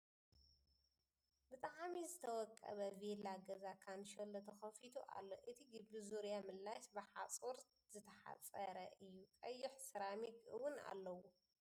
ብጣዕሚ ዝተወቀበ ቬላ ገዛ ካንሸሎ ተከፊቱ ኣሎ ። እቲ ግቢ ዙርያ መለሽ ብ ሓፁር ዝተሕፀረ እዩ ። ቀይሕ ሴራሚክ እውን ኣለዎ ።